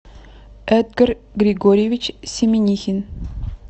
эдгар григорьевич семенихин